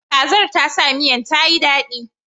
Kazar ta sa miyan ta yi daɗi.